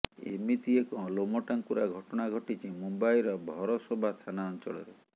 ଏମିତି ଏକ ଲୋମଟାଙ୍କୁରା ଘଟଣା ଘଟିଛି ମୁମ୍ବାଇର ଭରସୋଭା ଥାନା ଅଞ୍ଚଳରେ